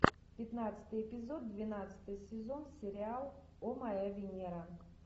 пятнадцатый эпизод двенадцатый сезон сериал о моя венера